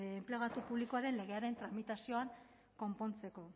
enplegatu publikoaren legearen tramitazioan konpontzeko